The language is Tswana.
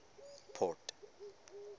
port